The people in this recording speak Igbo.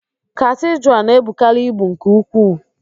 Katidral na-ebukarị ibu nke ukwuu.